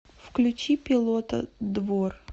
включи пилота двор